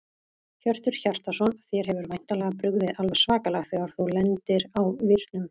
Hjörtur Hjartarson: Þér hefur væntanlega brugðið alveg svakalega þegar þú lendir á vírnum?